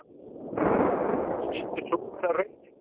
Skyldi sú vera raunin?